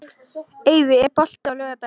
Eyfi, er bolti á laugardaginn?